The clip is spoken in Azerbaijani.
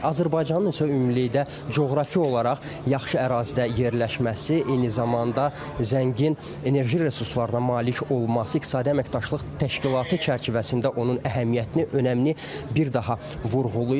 Azərbaycanın ümumilikdə coğrafi olaraq yaxşı ərazidə yerləşməsi, eyni zamanda zəngin enerji resurslarına malik olması İqtisadi Əməkdaşlıq Təşkilatı çərçivəsində onun əhəmiyyətini, önəmini bir daha vurğulayır.